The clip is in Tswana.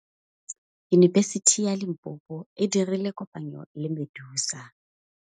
Yunibesiti ya Limpopo e dirile kopanyô le MEDUNSA.